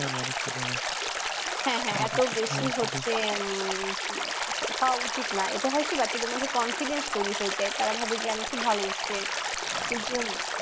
হ্যাঁ হ্যাঁ এত যে উম হওয়া উচিৎনা এটা হয় কি বাচ্চাদের মধ্যে confidential হয়ে যাই তারা ভাবে যে আমি খুব ভালো student কিন্তু